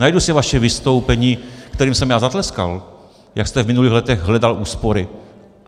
Najdu si vaše vystoupení, kterému jsem já zatleskal, jak jste v minulých letech hledal úspory.